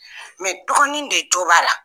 dɔgɔnin de tora la.